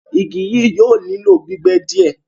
Ìgí yíí yóò nilọ̀ gbígbẹ́ díẹ